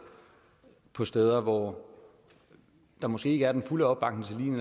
steder hvor der måske ikke er den fulde opbakning